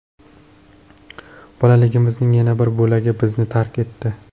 Bolaligimizning yana bir bo‘lagi bizni tark etdi.